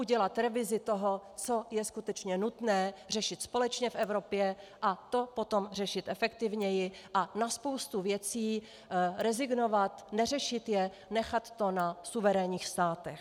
Udělat revizi toho, co je skutečně nutné řešit společně v Evropě, a to potom řešit efektivněji a na spoustu věcí rezignovat, neřešit je, nechat to na suverénních státech.